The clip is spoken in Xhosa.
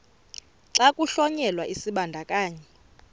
xa kuhlonyelwa isibandakanyi